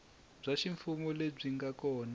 bya ximfumo lebyi nga kona